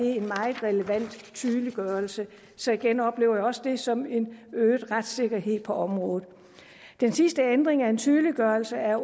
en meget relevant tydeliggørelse så igen oplever jeg også det som en øget retssikkerhed på området den sidste ændring er en tydeliggørelse af